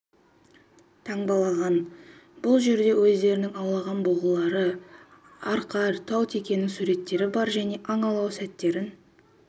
таңбалаған бұл жерде өздерінің аулаған бұғылары арқар тау текенің суреттері бар және аң аулау сәттерін